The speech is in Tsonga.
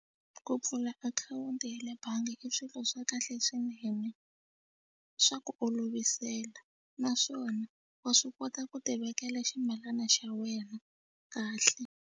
Ku pfula akhawunti ya le bangi i swilo swa kahle swinene swa ku olovisela naswona wa swi kota ku tivekela ximilana xa wena kahle.